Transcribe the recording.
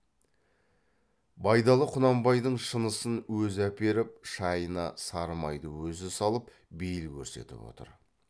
байдалы құнанбайдың шынысын өзі әперіп шайына сары майды өзі салып бейіл көрсетіп отыр